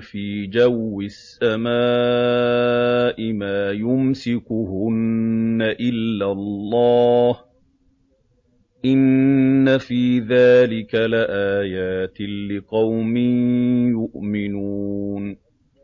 فِي جَوِّ السَّمَاءِ مَا يُمْسِكُهُنَّ إِلَّا اللَّهُ ۗ إِنَّ فِي ذَٰلِكَ لَآيَاتٍ لِّقَوْمٍ يُؤْمِنُونَ